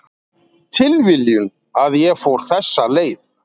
Tilviljun að ég fór þessa leið